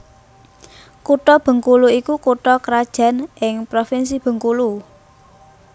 Kutha Bengkulu iku kutha krajan ing Provinsi Bengkulu